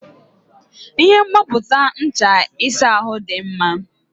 Ihe mgbapụta ncha ịsa ahụ dị mma.